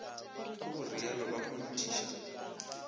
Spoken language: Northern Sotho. ka go rialo ba kgonthiša